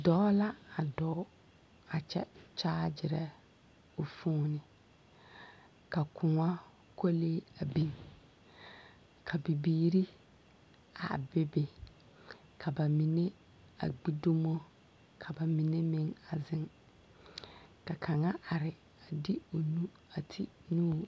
Dɔɔ la a dɔɔ a kyɛ kyaagyerɛ o foon. Ka kõɔ kolee a biŋ ka bibiiri a be be. Ka ba mine a gbi dumo ka ba menɛ meŋ a zeŋ. Ka kaŋa are a de o nu a ti o nu.